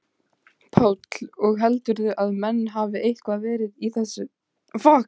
Páll: Og heldurðu að menn hafi eitthvað verið í hættu?